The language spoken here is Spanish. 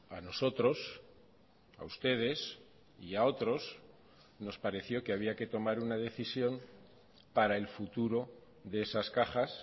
a nosotros a ustedes y a otros nos pareció que había que tomar una decisión para el futuro de esas cajas